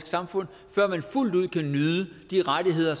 samfund før man fuldt ud kan nyde de rettigheder